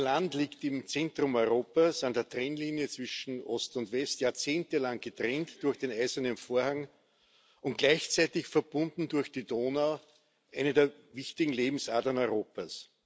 Ihr Land liegt im Zentrum Europas an der Trennlinie zwischen Ost und West Jahrzehnte lang getrennt durch den eisernen Vorhang und gleichzeitig verbunden durch die Donau, eine der wichtigen Lebensadern Europas.